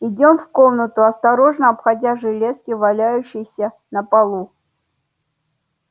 идём в комнату осторожно обходя железки валяющиеся на полу